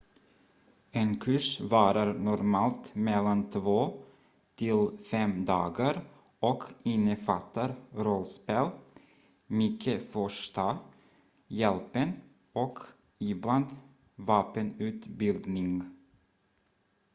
en kurs varar normalt mellan 2-5 dagar och innefattar rollspel mycket första hjälpen och ibland vapenutbildning